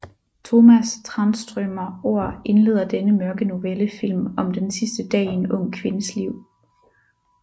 Tomas Tranströmer ord indleder denne mørke novellefilm om den sidste dag i en ung kvindes liv